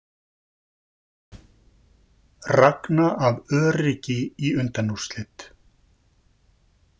Ragna af öryggi í undanúrslit